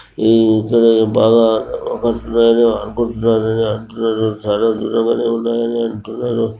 ఈ ఇక్కడ ఇయి బాగా అనుకుంటున్నారు. అని అంటున్నారు చాలా దూరంగానే ఉన్నాయని అంటున్నరు.